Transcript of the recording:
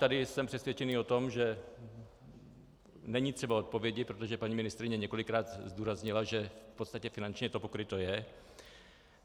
Tady jsem přesvědčený o tom, že není třeba odpovědi, protože paní ministryně několikrát zdůraznila, že v podstatě finančně to pokryto je.